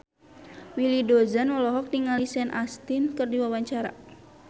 Willy Dozan olohok ningali Sean Astin keur diwawancara